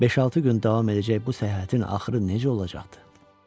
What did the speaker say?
Beş-altı gün davam edəcək bu səyahətin axırı necə olacaqdı?